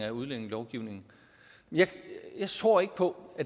af udlændingelovgivningen jeg tror ikke på